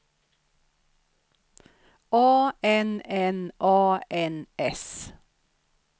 A N N A N S